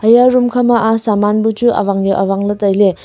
eya room kha ma a saman bu chu awang yau awang ley tailey.